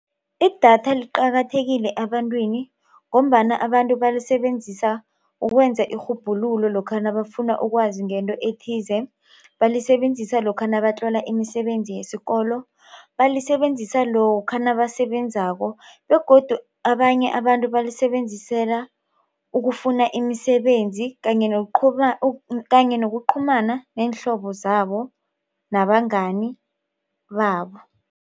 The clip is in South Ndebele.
Idatha liqakathekile ebantwini ngombana abantu balisebenzisa ukwenza irhubhululo lokha nabafuna ukwazi ngento ethize. Balisebenzisa lokha nabatlola imisebenzi yesikolo. Balisebenzisa lokha nabasebenzako begodu abanye abantu balisebenzisela ukufuna imisebenzi kanye nokuqhumana neenhlobo zabo nabangani babo.